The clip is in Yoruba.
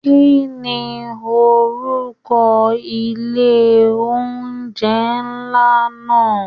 Kínní orúkọ ilé oúnjẹ nlá náà?